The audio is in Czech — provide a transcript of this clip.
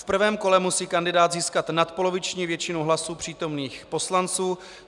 V prvém kole musí kandidát získat nadpoloviční většinu hlasů přítomných poslanců.